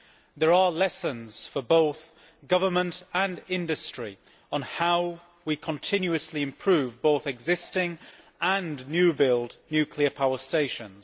There are lessons for both government and industry on how we continuously improve both existing and new built nuclear power stations.